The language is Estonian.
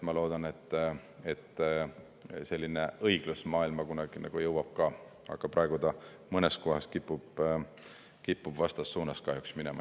Ma loodan, et selline õiglus jõuab kunagi ka maailma, aga praegu ta mõnes kohas kipub kahjuks vastassuunas minema.